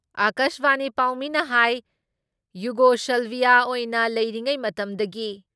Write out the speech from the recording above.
ꯑꯀꯥꯁꯕꯥꯅꯤ ꯄꯥꯥꯎꯃꯤꯅ ꯍꯥꯏ ꯌꯨꯒꯣꯁꯜꯚꯤꯌꯥ ꯑꯣꯏꯅ ꯂꯩꯔꯤꯉꯩ ꯃꯇꯝꯗꯒꯤ